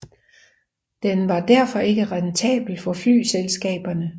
Den var derfor ikke rentabel for flyselskaberne